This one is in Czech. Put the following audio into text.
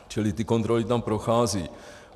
Čili ty kontroly tam procházejí.